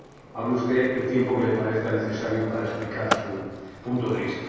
Hable usted el tiempo que le parezca necesario para explicar su punto de vista.